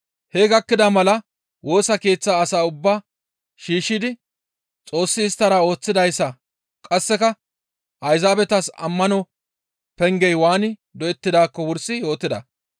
Hee gakkida mala Woosa Keeththa asaa ubbaa shiishshidi Xoossi isttara ooththidayssa qasseka Ayzaabetas ammano pengey waani doyettidaakko wursi yootida.